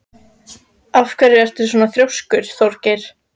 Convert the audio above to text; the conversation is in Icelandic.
Af hverju ertu svona þrjóskur, Þjóðgeir?